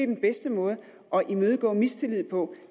den bedste måde at imødegå mistillid på